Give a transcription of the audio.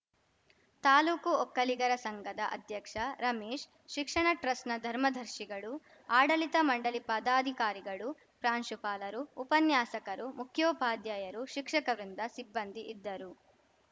ತಾಲೂಕು ಒಕ್ಕಲಿಗರ ಸಂಘದ ಅಧ್ಯಕ್ಷ ರಮೇಶ್‌ ಶಿಕ್ಷಣ ಟ್ರಸ್ಟ್‌ನ ಧರ್ಮದರ್ಶಿಗಳು ಆಡಳಿತ ಮಂಡಳಿ ಪದಾಧಿಕಾರಿಗಳು ಪ್ರಾಂಶುಪಾಲರು ಉಪನ್ಯಾಸಕರು ಮುಖ್ಯೋಪಾಧ್ಯಾಯರು ಶಿಕ್ಷಕ ವೃಂದ ಸಿಬ್ಬಂದಿ ಇದ್ದರು